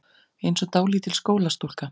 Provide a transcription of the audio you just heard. Einsog dálítil skólastúlka.